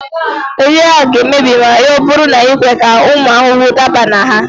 Nri a ga-emebi ma ọ bụrụ na i kwe ka ụmụ ahụhụ daba na ha